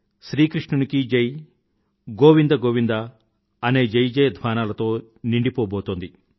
శ్రీ కృషునికీ జై గోవింద గోవింద అనే జయజయధ్వానాలతో నిండిపోబోతోంది